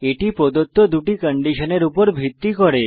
এটি প্রদত্ত দুটি কন্ডিশনের উপর ভিত্তি করে